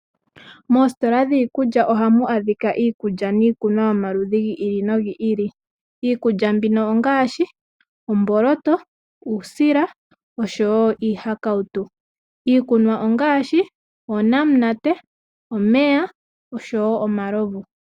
Moositola dhiikulya ohamu adhika iikulya niikunwa gomaludhi giili nogiili. Iikulya mbino ongaashi omboloto, uusila, osho wo iihakawutu. Iikunwa ongaashi oonamunate omeya osho wo omalovu.